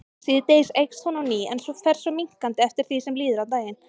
Síðdegis eykst hún á ný en fer svo minnkandi eftir því sem líður á daginn.